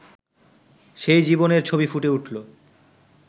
সেই জীবনের ছবি ফুটে উঠল